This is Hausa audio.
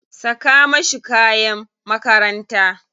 Saka mashi kayan makaranta.